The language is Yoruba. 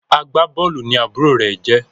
Agbabóòlù ní àbúrò rẹ jé